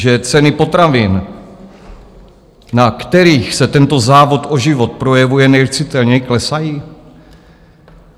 Že ceny potravin, na kterých se tento závod o život projevuje nejcitelněji, klesají?